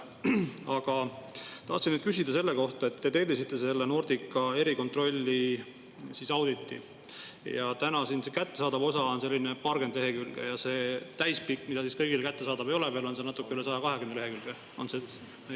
Aga tahtsin küsida selle kohta, et te tellisite selle Nordica erikontrolli auditi, selle kättesaadav osa on paarkümmend lehekülge ja see täispikk, mis kõigile kättesaadav ei ole veel, on natuke üle 120 lehekülje.